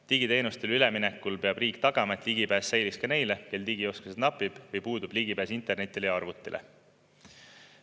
Digiteenustele üleminekul peab riik tagama, et ligipääs säiliks ka neile, kel digioskusi napib või puudub ligipääs internetile ja arvutile.